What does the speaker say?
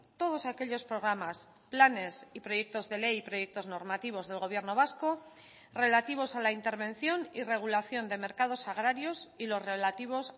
todos aquellos programas planes y proyectos de ley y proyectos normativos del gobierno vasco relativos a la intervención y regulación de mercados agrarios y los relativos